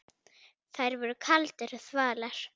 Þær voru kaldar og þvalar.